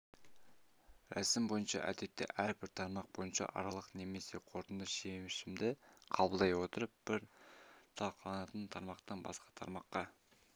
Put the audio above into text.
рәсім бойынша әдетте әрбір тармақ бойынша аралық немесе қорытынды шешімді қабылдай отырып бір талқыланатын тармақтан басқа тармаққа